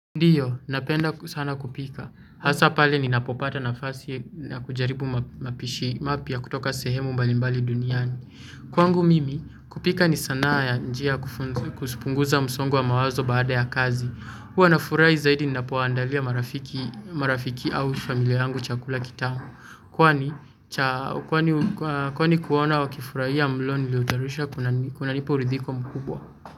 Ndio, napenda sana kupika. Hasaa pale ninapopata nafasi na kujaribu mapishi mapya kutoka sehemu mbalimbali duniani. Kwangu mimi, kupika ni sanaa ya njia kupunguza msongo wa mawazo baada ya kazi. Huwa na furahi zaidi ninapowaandalia marafiki au familia yangu chakula kitamu. Kwani kuona wa kifurahia mlo niliotayarisha kunanipa uridhiko mkubwa.